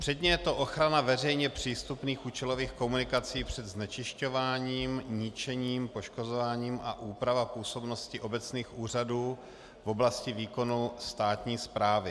Předně je to ochrana veřejně přístupných účelových komunikací před znečišťováním, ničením, poškozováním a úprava působnosti obecních úřadů v oblasti výkonu státní správy.